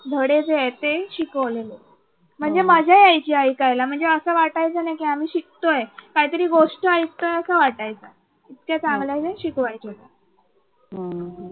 धडे जे आहेत ते शिकवले. म्हणजे मजा यायची ऐकायला म्हणजे असं वाटायचं नाही की आम्ही शिकतोय. काहीतरी गोष्ट ऐकतोय असं वाटायचं. इतके चांगले ते शिकवायचे.